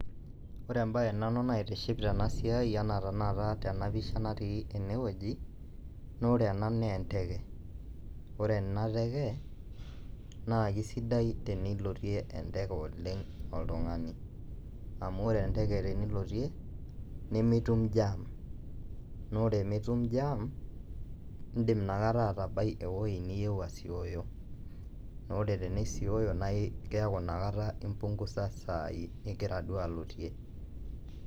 Ore embae naitiship nanu tena siai enaa tanakata tena pisha natii ene woji, naa ore ena enteke, ore ena teke naa kesidai tenilotie enteke oleng' oltungani. Amu ore enteke tenilotie nikitum jam naa ore mitum jam iidim nakata nibaya ewoji niyieu asioyo. Ore nakata tenisioyo neeku nakata imbungusa isaai nigira duo alotie.